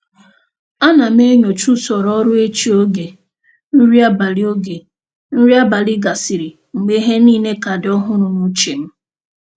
A na m enyocha usoro ọrụ echi oge nri abalị oge nri abalị gasịrị, mgbe ihe niile ka dị ọhụrụ n'uche m.